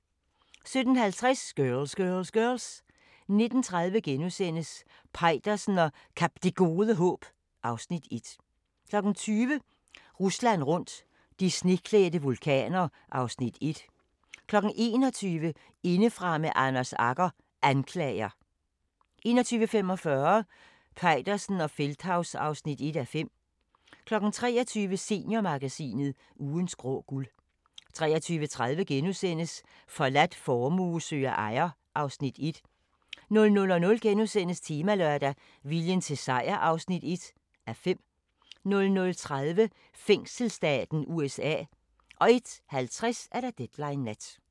17:50: Girls! Girls! Girls! 19:30: Peitersen og Kap Det Gode Håb (Afs. 1)* 20:00: Rusland rundt – de sneklædte vulkaner (Afs. 1) 21:00: Indefra med Anders Agger – Anklager 21:45: Peitersen og Feldthaus (1:5) 23:00: Seniormagasinet – Ugens grå guld 23:30: Forladt formue søger ejer (Afs. 1)* 00:00: Temalørdag: Viljen til sejr (1:5)* 00:30: Fængselsstaten USA 01:50: Deadline Nat